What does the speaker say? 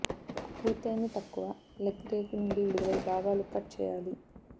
పూర్తయ్యింది తక్కువ లెగ్ రేకు నుండి విడుదలై భాగాలు కట్ చేయాలి